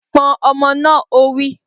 Pọn ọmọ náà! Ó wí.